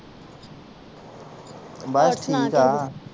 ਬਸ ਠੀਕ ਆ ਹੋਰ ਸੁਣਾ ਕਿੱਦਾਂ